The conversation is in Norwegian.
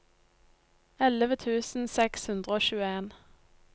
elleve tusen seks hundre og tjueen